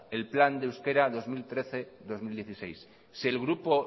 el plan de euskera dos mil trece dos mil dieciséis si el grupo